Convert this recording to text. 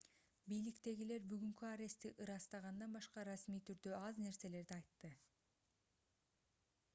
бийликтегилер бүгүнкү арестти ырастагандан башка расмий түрдө аз нерселерди айтты